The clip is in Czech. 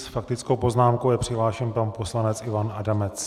S faktickou poznámkou je přihlášen pan poslanec Ivan Adamec.